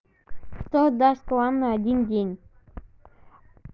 кто даст вам на один день